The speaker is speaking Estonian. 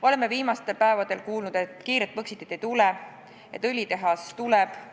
Oleme viimastel päevadel kuulnud, et kiiret põxitit ei tule, et õlitehas tuleb.